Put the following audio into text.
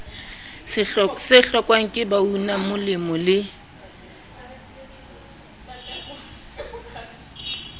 se hlokwang ke baunamolemo le